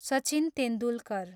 Sachin Tendulkar